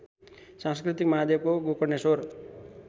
सांस्कृतिक महादेवको गोकर्णेश्वर